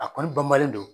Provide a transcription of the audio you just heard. A kɔni banbalen don